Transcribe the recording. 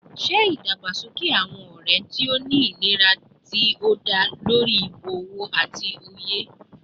Ṣe idagbasoke awọn ọrẹ ti o ni ilera ti o da lori ibowo ati oye